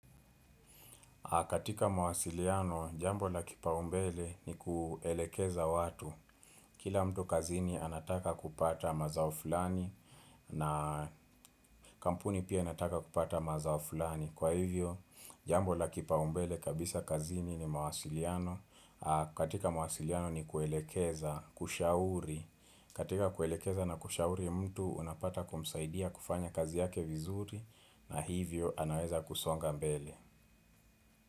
Katika mawasiliano, jambo la kipaumbele ni kuelekeza watu. Kila mtu kazini anataka kupata mazao fulani na kampuni pia anataka kupata mazao fulani. Kwa hivyo, jambo la kipaumbele kabisa kazini ni mawasiliano aah katika mawasiliano ni kuelekeza, kushauri. Katika kuelekeza na kushauri mtu unapata kumsaidia kufanya kazi yake vizuri na hivyo anaweza kusonga mbele.